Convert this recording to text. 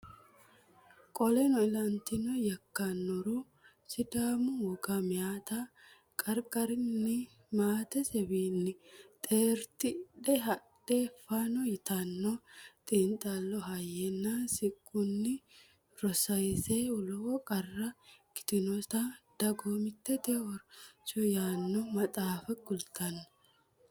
Qoleno ilantino yakkannoro Sidaamu woga Meyate qarqarinni maatesewiinni xeertidhe hadhe fonoo yitanno xiinxallo Hayyenna sinqunni rosase lowo qarra ikkinoseta Dagoomitte Horose yaanno maxaafa kultanno.